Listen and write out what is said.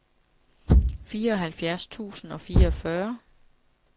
fireoghalvfjerds tusind og fireogfyrre